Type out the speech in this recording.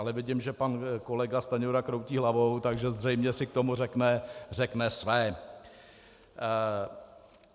Ale vidím, že pan kolega Stanjura kroutí hlavou, takže zřejmě si k tomu řekne své.